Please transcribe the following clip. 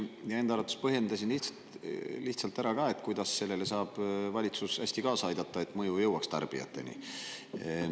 Ja enda arvates põhjendasin ka lihtsalt ära, kuidas sellele saab valitsus hästi kaasa aidata, et mõju jõuaks tarbijateni.